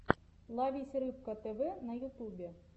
ловись рыбка тв на ютубе